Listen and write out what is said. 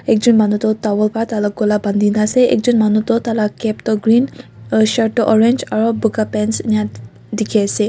ekjon manu tu tawel pa tai lah gola bandi na ase ekjon manu tu tala cap tu green aru shirt tu orange aru boga pants ena dikhi ase.